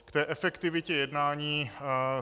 K efektivitě jednání.